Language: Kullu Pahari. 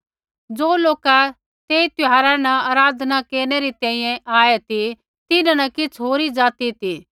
ज़ो लोका तेस त्यौहारा न आराधना न केरनै री तैंईंयैं आऐ ती तिन्हां न किछ़ होरी ज़ाति ती